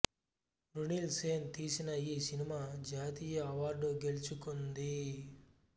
మృణిల్ సేన్ తీసిన ఈ సినిమా జాతీయ అవార్డు గెలుచుకుంది